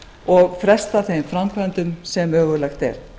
og fresta þeim framkvæmdum sem mögulegt er